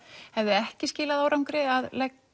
hefði ekki skilað árangri að